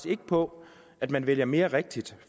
ikke på at man vælger mere rigtigt